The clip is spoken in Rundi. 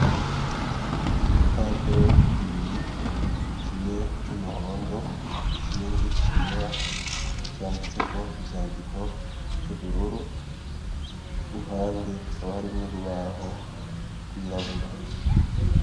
Ibipapuro bibiri kimwe c'umuhondo ikindi cera vyanditseko ivyandiko vy'ubururu, impande hakaba harimwo urubaho rwirabura.